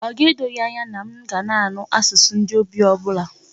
Ọ ga-edo gị anya na m ga-anụ asụsụ ndị Ogbi ọ bụla?